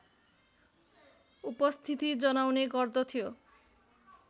उपस्थिति जनाउने गर्दथ्यो